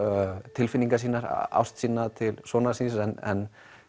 tilfinningar sínar ást sína til sonar síns en